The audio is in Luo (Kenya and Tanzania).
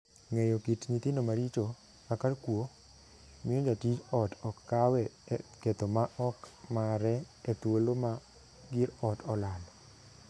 Ng'eyo kit nyithindo maricho, kaka kuo, miyo jatij ot ok kawe e ketho ma ok mare e thuolo ma gir ot olal.